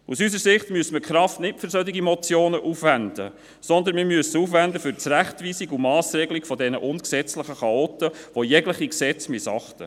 Aus unserer Sicht müsste man die Kraft nicht für solche Motionen aufwenden, sondern man müsste sie für das Zurechtweisen und die Massregelung dieser ungesetzlichen Chaoten aufwenden, die jegliche Gesetze missachten.